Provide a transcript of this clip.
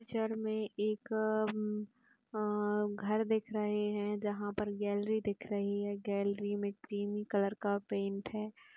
Picture में एक अ- आ- घर दिख रहे हैं जहाँ पर गैलेरी दिख रही हैं। गैलेरी में क्रीमी कलर का पेंट है।